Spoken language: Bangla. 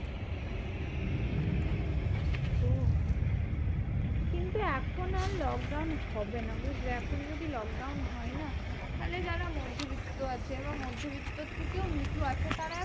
ওহ কিন্তু এখন আর lockdown হবে না বুঝলে? এখন যদি lockdown হয় না? তাহলে যারা মধ্যবিত্ত আছে বা মধ্যবিত্তর থেকেও নিচু আছে তারা